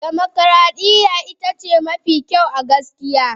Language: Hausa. Dimokuradiyya ita ce mafi kyau a gaskiya.